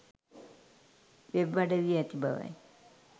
web අඩවියේ ඇති බවයි